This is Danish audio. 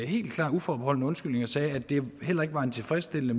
helt klar uforbeholden undskyldning og sagde at det heller ikke var tilfredsstillende